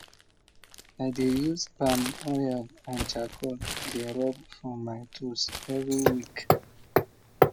i dey use palm oil and charcoal dey rub for my tools every week